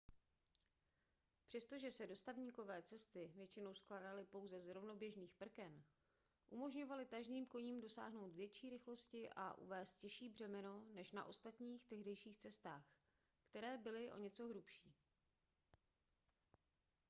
přestože se dostavníkové cesty většinou skládaly pouze z rovnoběžných prken umožňovaly tažným koním dosáhnout větší rychlosti a uvézt těžší břemeno než na ostatních tehdejších cestách které byly o něco hrubší